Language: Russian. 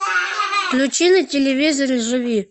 включи на телевизоре живи